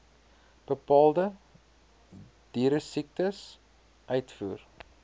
bepaalde dieresiektes uitvoer